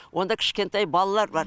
онда кішкентай балалар бар